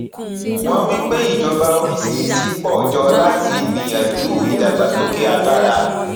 wọn wí pé ìjọba oríṣìíríṣìí pọ jọ láti gbìyànjú ìdàgbàsókè agbára